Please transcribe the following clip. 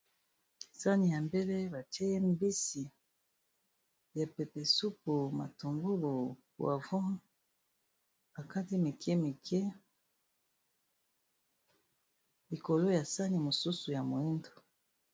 Sani ya mbele batie mbisi ya pepe supu, matungulu, poivron ba kati mike mike likolo ya sani mosusu ya moyindo.